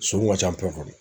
Sonw ka ca kɔnɔ.